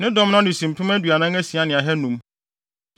Ne dɔm ano si mpem aduanan asia ne ahannum (46,500).